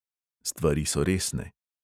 Stvari so resne.